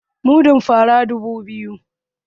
Mudun fara nera dubu biyu